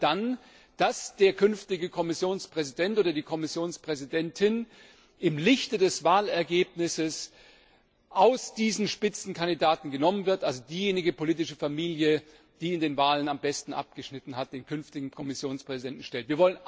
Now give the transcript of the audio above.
Wir wollen dann, dass der künftige Kommissionspräsident oder die Kommissionspräsidentin im Lichte des Wahlergebnisses aus diesen Spitzenkandidaten hervorgeht, also diejenige politische Familie, die in den Wahlen am besten abgeschnitten hat, den künftigen Kommissionspräsidenten stellt.